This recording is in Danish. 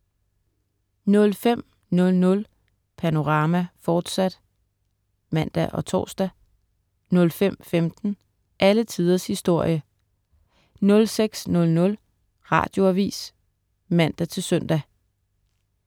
05.00 Panorama, fortsat* (man og tors) 05.15 Alle tiders historie* 06.00 Radioavis (man-søn)